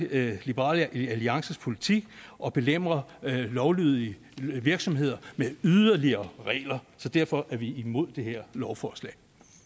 liberal alliances politik at belemre lovlydige virksomheder med yderligere regler så derfor er vi imod det her lovforslag